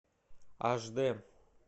аш дэ